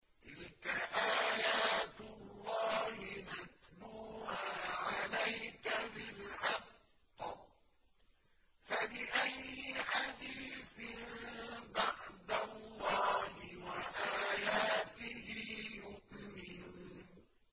تِلْكَ آيَاتُ اللَّهِ نَتْلُوهَا عَلَيْكَ بِالْحَقِّ ۖ فَبِأَيِّ حَدِيثٍ بَعْدَ اللَّهِ وَآيَاتِهِ يُؤْمِنُونَ